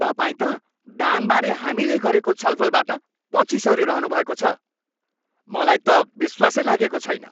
तपाईँ त दानबारे हामीले गरेको छलफलबाट पछि सरिरहनुभएको छ। मलाई त विश्वासै लागेको छैन।